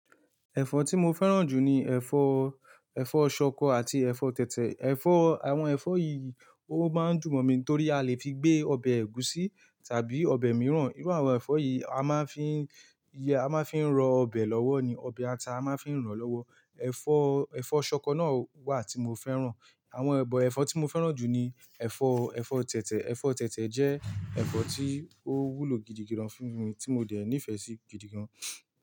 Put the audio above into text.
Ẹ̀fọ́ tí mo fẹ́ràn jù ni ẹ̀fọ́, ẹ̀fọ́ ṣọkọ àti ẹ̀fọ́ tẹ̀tẹ̀. Ẹ̀fọ́, àwọn ẹ̀fọ́ yìí ó máa ń dùn momi torí a lè fi gbé ọbẹ̀ ẹ̀gúsí tàbí ọbẹ̀ mìíràn. Irú àwọn ẹ̀fọ́ yìí a máa ń fi i ro ọbẹ̀ lọ́wọ́ ni, ọbẹ̀ ata a máa ń fi ràn lọ́wọ́. Ẹ̀fọ́, ẹ̀fọ́ ṣọkọ náà wà tí mo fẹ́ràn. Àwọn ebọ ẹ̀fọ́ tí mo fẹ́ràn jù ni ẹ̀fọ́, ẹ̀fọ́ tẹ̀tẹ̀. Ẹ̀fọ́ tẹ̀tẹ̀ jẹ́ ẹ̀fọ́ tí ó wúlò gidigidan fún mi tí mo dẹ̀ nífẹ̀ẹ́ sí gidigan.